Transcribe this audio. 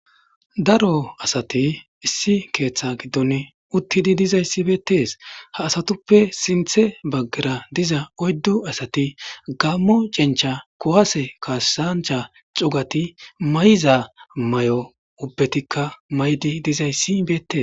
Daro asati issi keeththa giddon uttidi dizayssi beettees ha asatuppe sinthe baggera diza oyddu asati gammo cencha kowaase kaasancha cugati may7za may7o ubbetikka may7di dizayssi beettees.